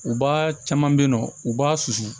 U b'a caman be yen nɔ u b'a susu